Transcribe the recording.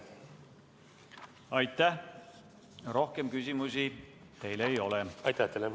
Aitäh, rohkem küsimusi teile ei ole!